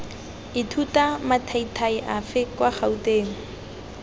ithuta mathaithai afe kwa gouteng